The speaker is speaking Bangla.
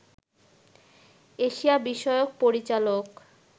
এশিয়া বিষয়ক পরিচালক